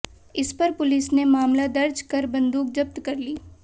इस पर पुलिस ने मामला दर्ज कर बंदूक जब्त कर ली